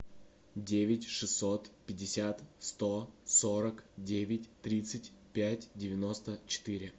девять шестьсот пятьдесят сто сорок девять тридцать пять девяносто четыре